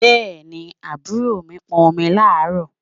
Bẹ́ẹ̀ni, àbúrò mi pọn omi láàárọ̀?